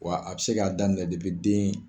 Wa a bɛ se k'a daminɛ den